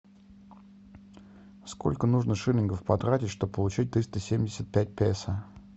сколько нужно шиллингов потратить чтобы получить триста семьдесят пять песо